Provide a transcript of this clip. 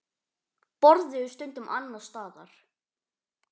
Borðuðu stundum annars staðar.